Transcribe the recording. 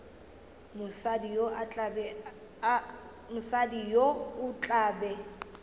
mosadi yo o tla be